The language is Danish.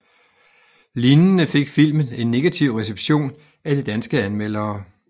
Lignende fik filmen en negativ reception af de danske anmeldere